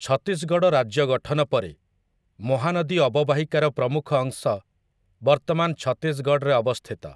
ଛତିଶଗଡ଼ ରାଜ୍ୟ ଗଠନ ପରେ, ମହାନଦୀ ଅବବାହିକାର ପ୍ରମୁଖ ଅଂଶ ବର୍ତ୍ତମାନ ଛତିଶଗଡ଼ରେ ଅବସ୍ଥିତ ।